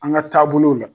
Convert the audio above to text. An ka taabolow la